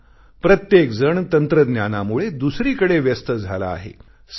का प्रत्येक जण तंत्रज्ञानामुळे दुसरीकडे व्यस्त झाला आहे